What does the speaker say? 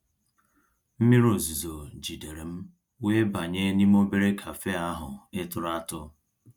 mmírí ọ̀zuzọ̀ jìdéré m wéé bànyé n'ímé òbérè cafe ahụ́ ị̀ tụ̀rụ́ àtụ́.